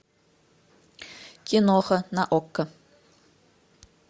киноха на окко